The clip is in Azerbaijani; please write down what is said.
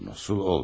Necə olmur?